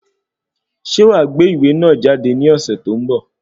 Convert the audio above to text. Ṣe wàá gbé ìwé náà jáde ní ọ̀sẹ̀ tó ń bọ̀?